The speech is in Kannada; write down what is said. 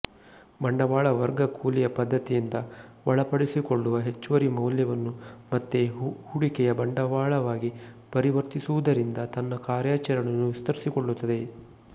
ಬಂಡವಾಳ ವರ್ಗ ಕೂಲಿಯ ಪದ್ಧತಿಯಿಂದ ಒಳಪಡಿಸಿಕೊಳ್ಳುವ ಹೆಚ್ಚುವರಿ ಮೌಲ್ಯವನ್ನು ಮತ್ತೆ ಹೂಡಿಕೆಯ ಬಂಡವಾಳವಾಗಿ ಪರಿವರ್ತಿಸುವುದರಿಂದ ತನ್ನ ಕಾರ್ಯಾಚರಣೆಯನ್ನು ವಿಸ್ತರಿಸಿಕೊಳ್ಳುತ್ತದೆ